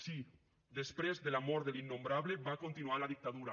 sí després de la mort de l’innombrable va continuar la dictadura